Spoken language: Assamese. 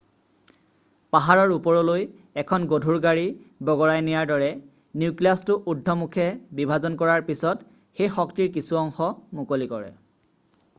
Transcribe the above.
পা্হাৰৰ ওপৰলৈ এখন গধুৰ গাড়ী বগৰাই নিয়াৰ দৰে নিউক্লিয়াছটো উৰ্দ্ধমুখে বিভাজন কৰাৰ পিছত সেই শক্তিৰ কিছু অংশ মুকলি কৰে